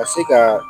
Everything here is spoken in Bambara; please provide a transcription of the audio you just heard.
Ka se ka